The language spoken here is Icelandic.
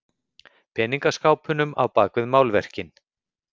Peningaskápunum á bak við málverkin.